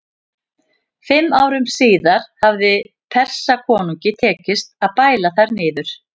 Fimm árum síðar hafði Persakonungi tekist að bæla þær niður.